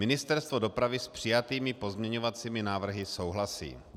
Ministerstvo dopravy s přijatými pozměňovacími návrhy souhlasí.